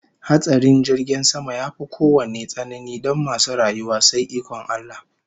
Hatsarin jirgin sama yafi kowanne tsanani don masu rayuwa sai ikon Allah